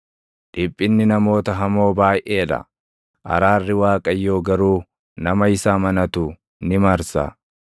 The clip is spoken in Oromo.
Dhiphinni namoota hamoo baayʼee dha; araarri Waaqayyoo garuu nama isa amanatu ni marsa.